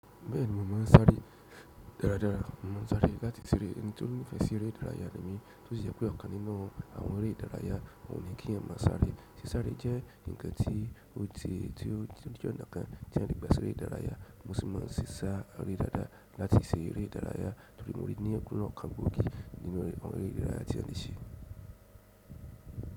Bẹ́ẹ̀ni mo ma ń sáré dáradára mo ma ń sáré láti ṣeré. Nítorí mo nífẹ̀ẹ́ sí eré ìdárayá gan ni tósì jẹ́ pé ọ̀kan nínú àwọn eré ìdárayá òun ni kí yàn máa sáré. Sí sáré jẹ́ ǹkan tí ó ti, tí ó tó jẹ́ ọ̀nà kan tí yàn lè gbà ṣeré ìdárayá. Bí wọ́n ṣe ma ń ṣe sá aré dadá láti ṣe eré ìdárayá torí mori ní lọ́nà kan gbòógì nínú àwọn eré ìdárayá tí a lè ṣe.